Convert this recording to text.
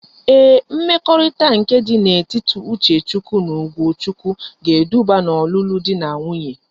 Ee mmekorita nke di na etiti Uchechukwu na Ugochukwu ga-eduba na olulu di na nwunye